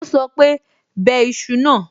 Ó sọ pé, 'bẹ iṣu náà.'